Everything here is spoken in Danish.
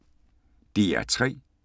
DR P3